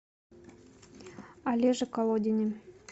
олеже колодине